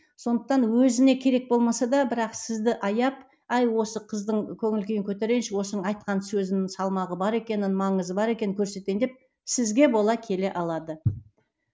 сондықтан өзіне керек болмаса да бірақ сізді аяп ай осы қыздың көңіл күйін көтерейінші осының айтқан сөзінің салмағы бар екенін маңызы бар екенін көрсетейін деп сізге бола келе алады